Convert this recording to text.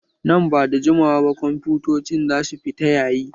Nan ba da jimawa ba kwamfutocin za su fita yayi